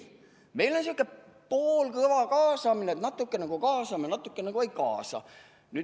Ei, meil on selline poolkõva kaasamine, et natukene nagu kaasame, aga natukene nagu ei kaasa.